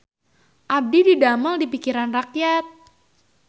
Abdi didamel di Pikiran Rakyat